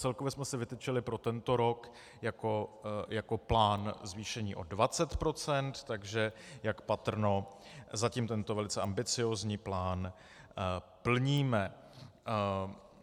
Celkově jsme si vytyčili pro tento rok jako plán zvýšení o 20 %, takže jak patrno, zatím tento velice ambiciózní plán plníme.